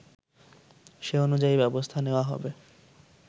সে অনুযায়ী ব্যবস্থা নেওয়া হবে